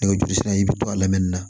Nɛgɛjuru sira i bi to a lamɛnni na